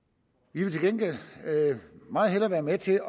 vi vil til gengæld meget hellere være med til